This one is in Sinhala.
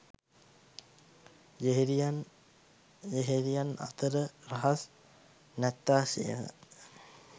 යෙහෙළියන් යෙහෙළියන් අතර රහස් නැත්තාසේම